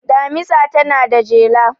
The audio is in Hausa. Damisa tana da jela.